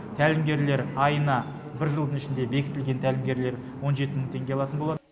тәлімгерлер айына бір жылдың ішінде бекітілген тәлімгерлер он жеті мың теңге алатын болады